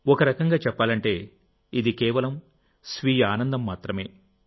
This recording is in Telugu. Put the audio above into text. ఒక రకంగా చెప్పాలంటేఇది కేవలం స్వీయ ఆనందం మాత్రమే